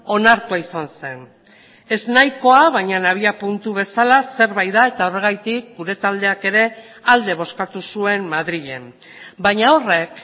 onartua izan zen eznahikoa baina abiapuntu bezala zerbait da eta horregatik gure taldeak ere alde bozkatu zuen madrilen baina horrek